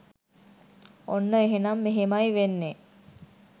ඔන්න එහෙනම් මෙහෙමයි වෙන්නේ